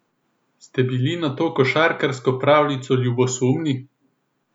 Ste bili na to košarkarsko pravljico ljubosumni?